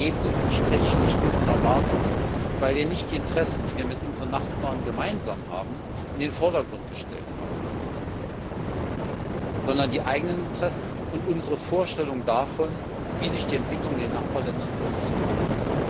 Das Ergebnis entspricht nicht unseren Erwartungen, weil wir nicht die Interessen, die wir mit unseren Nachbarn gemeinsam haben, in den Vordergrund gestellt haben, sondern die eigenen Interessen und unsere Vorstellungen davon, wie sich die Entwicklung in den Nachbarländern vollziehen sollte.